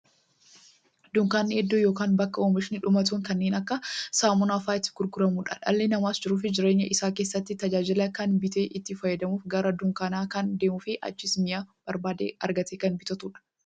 Dunkaanni iddoo yookiin bakka oomishni dhumatoon kanneen akka saamunaa faa'a itti gurguramuudha. Dhalli namaas jiruuf jireenya isaa keessatti, tajaajila kana bitee itti fayyadamuuf, gara dunkaanaa kan deemuufi achiis mi'a barbaade argatee kan bitatuudha.